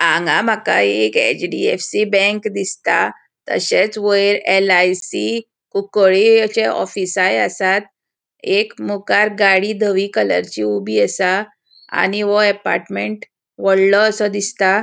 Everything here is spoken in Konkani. हांगा माका एक एच.डी.एफ.सी. बैंक दिसता. तशेच वैर एल.आय.सी. कुंकळे अशे ऑफिसाय असात एक मुखार गाड़ी धवी कलरची ऊबी असा आणि वो एपार्टमेंट वडलो असो दिसता.